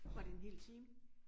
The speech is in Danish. Var det en hel time?